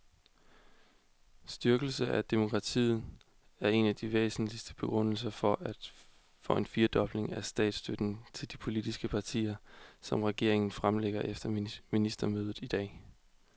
Styrkelse af demokratiet er den væsentligste begrundelse for den firedobling af statsstøtten til de politiske partier, som regeringen fremlægger efter ministermødet i dag.